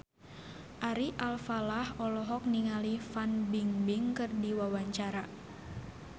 Ari Alfalah olohok ningali Fan Bingbing keur diwawancara